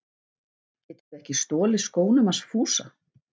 Geturðu ekki stolið skónum hans Fúsa!